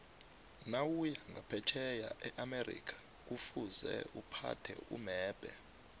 nawuya nqaphetjheya eamerica kufuze uphathe umebhe